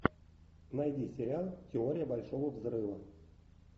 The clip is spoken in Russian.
найди сериал теория большого взрыва